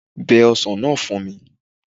Bẹ ọsàn náà fún mi